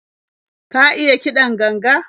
Ka iya kiɗan ganga?